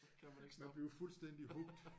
Så kan man ikke stoppe